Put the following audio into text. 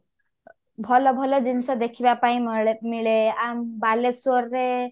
ଭଲ ଭଲ ଜିନିଷ ଦେଖିବା ପାଇଁ ମଳେ ମିଳେ ଆମ ବାଲେଶ୍ଵର ରେ